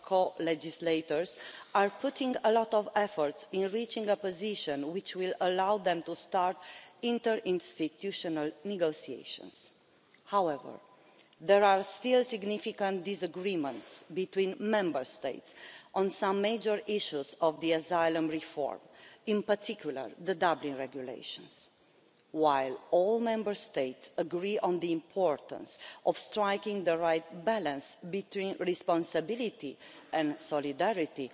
co-legislators are putting a lot of effort into reaching a position which will allow them to start interinstitutional negotiations. However, there are still significant disagreements between Member States on some major issues of the asylum reform, in particular the Dublin Regulation. While all Member States agree on the importance of striking the right balance between responsibility and solidarity,